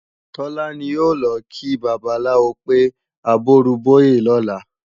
Tọ́lá ní a ò lọ kí babaláwo pé àbọrúbọyè lọ́la